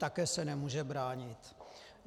Také se nemůže bránit.